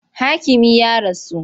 Hakimin ya rasu.